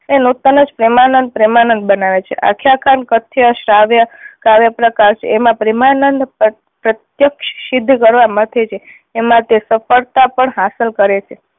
એ નુતન જ પ્રેમાનંદ પ્રેમાનંદ બનાવે છે. આખ્યાન કાર કથ્ય શ્રાવ્ય કાવ્ય પ્રકાર એમાં પ્રેમાનંદ પ્ર પ્રત્યક્ષ સિદ્ધ કરવા મથે છે. એમાં તે સફળતા પણ હાસલ કરે છે